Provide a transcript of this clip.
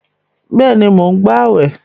Bẹ́ẹ̀ni, mò ń gbàwẹ̀